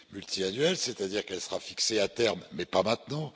pluriannuel, c'est à dire qu'elle sera fixée à terme, mais pas maintenant.